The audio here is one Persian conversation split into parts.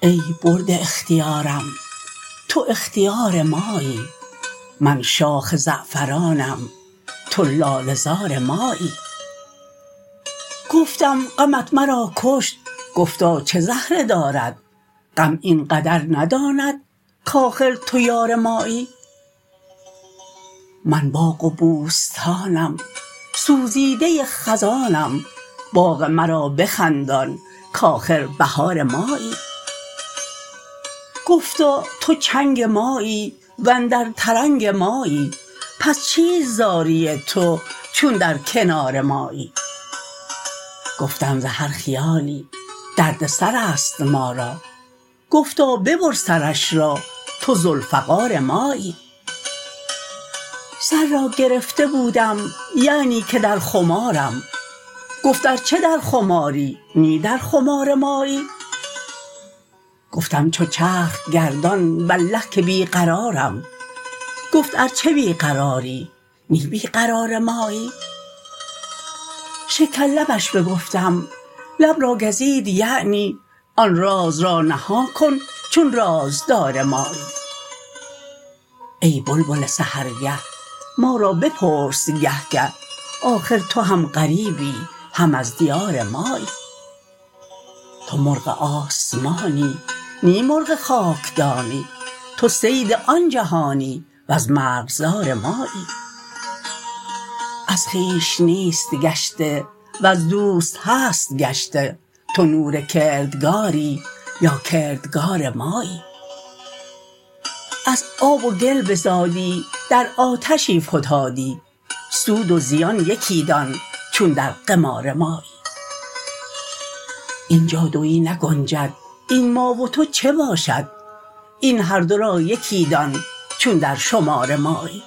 ای برده اختیارم تو اختیار مایی من شاخ زعفرانم تو لاله زار مایی گفتم غمت مرا کشت گفتا چه زهره دارد غم این قدر نداند کآخر تو یار مایی من باغ و بوستانم سوزیده خزانم باغ مرا بخندان کآخر بهار مایی گفتا تو چنگ مایی و اندر ترنگ مایی پس چیست زاری تو چون در کنار مایی گفتم ز هر خیالی درد سر است ما را گفتا ببر سرش را تو ذوالفقار مایی سر را گرفته بودم یعنی که در خمارم گفت ار چه در خماری نی در خمار مایی گفتم چو چرخ گردان والله که بی قرارم گفت ار چه بی قراری نی بی قرار مایی شکرلبش بگفتم لب را گزید یعنی آن راز را نهان کن چون رازدار مایی ای بلبل سحرگه ما را بپرس گه گه آخر تو هم غریبی هم از دیار مایی تو مرغ آسمانی نی مرغ خاکدانی تو صید آن جهانی وز مرغزار مایی از خویش نیست گشته وز دوست هست گشته تو نور کردگاری یا کردگار مایی از آب و گل بزادی در آتشی فتادی سود و زیان یکی دان چون در قمار مایی این جا دوی نگنجد این ما و تو چه باشد این هر دو را یکی دان چون در شمار مایی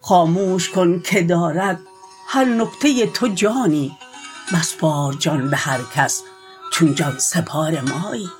خاموش کن که دارد هر نکته تو جانی مسپار جان به هر کس چون جان سپار مایی